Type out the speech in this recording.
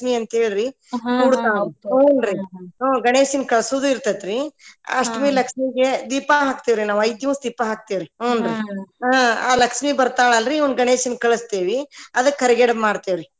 ಹ್ಮ್‌ ಹುನ್ರಿ ಗಣೇಶನ ಕಲ್ಸುದು ಇರ್ತೇತಿರೀ ಅಷ್ಟಮಿ ಲಕ್ಷ್ಮಿಗೆ ದೀಪಾ ಹಾಕ್ತೇವ್ರಿ ನಾವ್ ಐದ ದಿವಸ ದೀಪಾ ಹಾಕ್ತೇವ ರೀ ಹುನ್ರಿ ಆ ಲಕ್ಷ್ಮೀ ಬರ್ತಾಳ ಅಲ್ರಿ ಇವ್ನು ಗಣೇಶನ ಕಳಸ್ತೇವಿ ಅದಕ್ಕ ಕರಿಗಡಬ ಮಾಡ್ತೇವ್ರಿ.